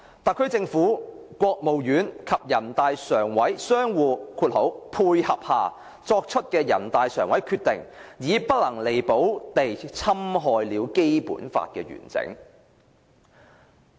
特區政府、國務院及全國人大常委會相互'配合'下作出的人大常委決定，已不能彌補地侵害了《基本法》的完整。